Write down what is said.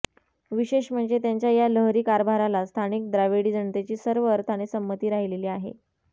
विशेष म्हणजे त्यांच्या या लहरी कारभाराला स्थानिक द्राविडी जनतेची सर्व अर्थाने संमती राहिलेली आहे